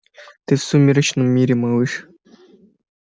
ты в сумеречном мире малыш